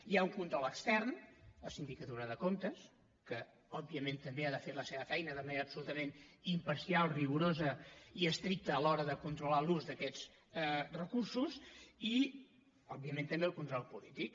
hi ha un control extern la sindicatura de comptes que òbviament també ha de fer la seva feina de manera absolutament imparcial rigorosa i estricta a l’hora de controlar l’ús d’aquests recursos i òbviament també el control polític